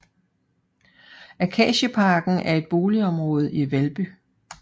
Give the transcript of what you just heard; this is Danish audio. Akacieparken er et boligområde i Valby